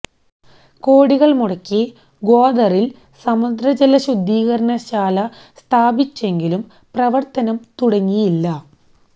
കോടികള് മുടക്കി ഗ്വദറില് സമുദ്രജല ശുദ്ധീകരണശാല സ്ഥാപിച്ചെങ്കിലും പ്രവര്ത്തനം തുടങ്ങിയില്ല